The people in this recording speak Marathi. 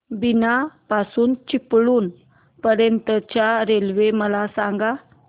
बीना पासून चिपळूण पर्यंत च्या रेल्वे मला सांगा